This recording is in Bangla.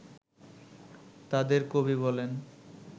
তাঁদের কবি বলেন